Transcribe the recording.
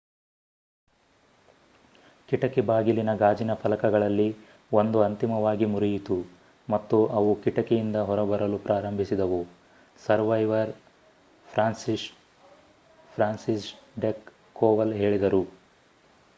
ಕಿಟಕಿ ಬಾಗಿಲಿನ ಗಾಜಿನ ಫಲಕಗಳಲ್ಲಿ 1 ಅಂತಿಮವಾಗಿ ಮುರಿಯಿತು ಮತ್ತು ಅವು ಕಿಟಕಿ ಇಂದ ಹೊರಬರಲು ಪ್ರಾರಂಭಿಸಿದವು ಸರ್ವೈವರ್ ಫ್ರಾನ್ಸಿಸ್ಜೆಕ್ ಕೋವಲ್ ಹೇಳಿದರು